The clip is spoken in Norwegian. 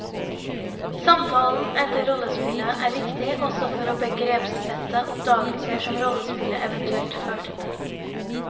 Samtalen etter rollespillet er viktig også for å begrepssette oppdagelser som rollespillet eventuelt førte til.